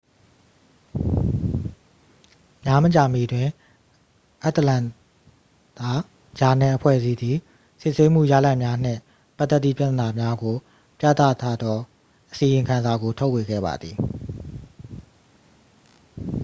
များမကြာမီတွင် အတ္တလန္တာ ဂျာနယ်-အဖွဲ့အစည်းသည် စစ်ဆေးမှုရလဒ်များနှင့်ပတ်သက်သည့်ပြဿနာများကို ပြသထားသောအစီရင်ခံစာကို ထုတ်ဝေခဲ့ပါသည်